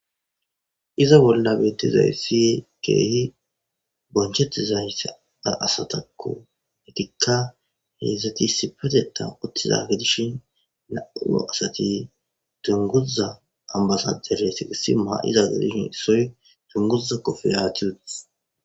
iza bolla betizayssi keehi bonchettizay sada asatakko hetikka heedzdzati isipateta uttizage dishin nauo asati tunguza ambasajere si qisi maa7izagedishin issoy tunguza kofe aachiut